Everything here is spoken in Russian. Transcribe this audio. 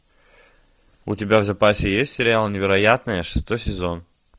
у тебя в запасе есть сериал невероятное шестой сезон